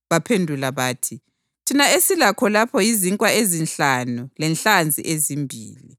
Baphendula bathi, “Thina esilakho lapha yizinkwa ezinhlanu lenhlanzi ezimbili.”